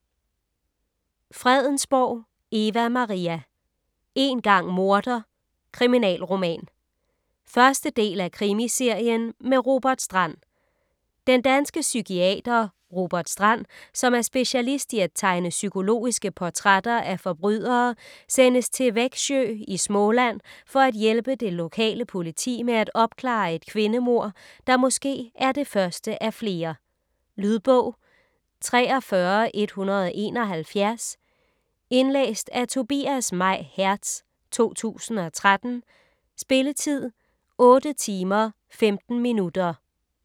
Fredensborg, Eva Maria: Én gang morder: kriminalroman 1. del af Krimiserien med Robert Strand. Den danske psykiater Robert Strand, som er specialist i at tegne psykologiske portrætter af forbrydere sendes til Växjö i Småland for at hjælpe det lokale politi med at opklare et kvindemord, der måske er det første af flere. Lydbog 43171 Indlæst af Tobias May Hertz, 2013. Spilletid: 8 timer, 15 minutter.